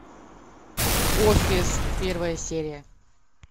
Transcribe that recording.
офис первая серия